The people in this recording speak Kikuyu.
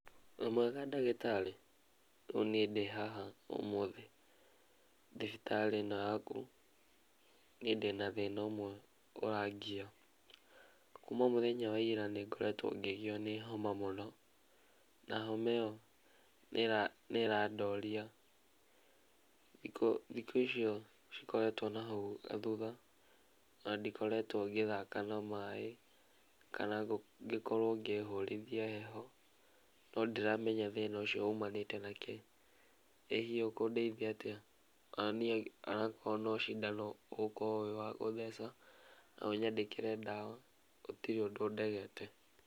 Wĩmwega ndagĩtarĩ, rĩu nĩe ndĩ haha ũmũthĩ thibitarĩ ĩno yaku, niĩ ndĩna thĩna ũmwe ũrangia kuma mũthenya wa ira nĩngoretwo ngĩgio nĩ homa mũno na homa ĩyo nĩĩrandoria, na thikũ icio cikoretwo hau thutha thutha ona ndikoretwo ngĩthaka na maaĩ kana ngĩkorwo ngĩihũrithia heho no ndiramenya thĩna ũcio ũmanĩte na kĩ , ĩ hihi ũkũndeithia atia? Ona korwo nĩ cindano ũgũtheca na ũnyandĩkĩre ndawa, gũtire ũndũ ndegete.